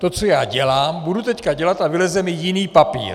To, co já dělám, budu teď dělat a vyleze mi jiný papír.